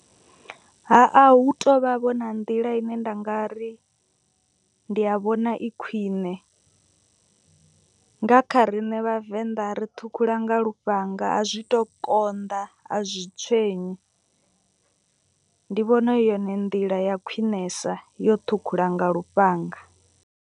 Ha a hu tovha vho na nḓila ine nda nga ri ndi a vhona i khwiṋe. Nga kha riṋe vhavenḓa ri ṱhukhula nga lufhanga a zwi tu konḓa a zwi tswenyi. Ndi vhona i yone nḓila ya khwinesa yo ṱhukhula nga lufhanga.